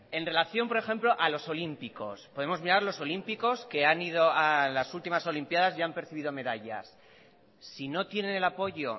en relación por ejemplo a los olímpicos podemos mirar los olímpicos que han ido a las últimas olimpiadas y han percibido medallas si no tienen el apoyo